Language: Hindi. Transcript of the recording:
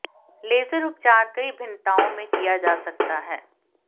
लेजर उपचार कई भिन्नताओं में किया जा सकता है